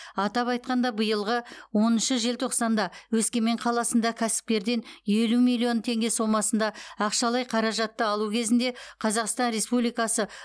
атап айтқанда биылғы оныншы желтоқсанда өскемен қаласында кәсіпкерден елу миллион теңге сомасында ақшалай қаражатты алу кезінде қазақстан республикасы